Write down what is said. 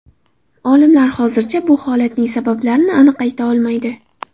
Olimlar hozircha bu holatning sabablarini aniq ayta olmaydi.